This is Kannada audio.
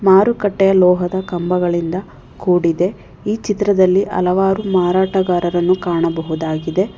ಮಾರುಕಟ್ಟೆ ಲೋಹದ ಕಂಬಗಳಿಂದ ಕೂಡಿದೆ ಈ ಚಿತ್ರದಲ್ಲಿ ಹಲವಾರು ಮಾರಾಟಗಾರರನ್ನು ಕಾಣಬಹುದಾಗಿದೆ.